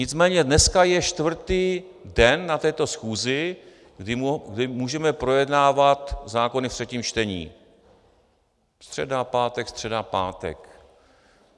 Nicméně dneska je čtvrtý den na této schůzi, kdy můžeme projednávat zákony ve třetím čtení - středa, pátek, středa, pátek.